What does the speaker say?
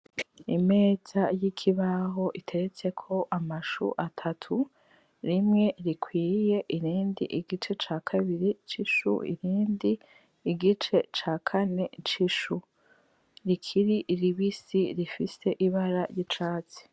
imeza y' ikibaho iteretseko amashu atatu rimwe rikwiye irindi igice ca kabiri c' ishu irindi igice cakane c' ishu rikiri ribisi rifise ibara ry' icatsi.